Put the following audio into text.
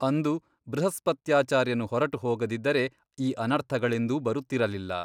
ಅಂದು ಬೃಹಸ್ಪತ್ಯಾಚಾರ್ಯನು ಹೊರಟು ಹೋಗದಿದ್ದರೆ ಈ ಅನರ್ಥಗಳೆಂದೂ ಬರುತ್ತಿರಲಿಲ್ಲ.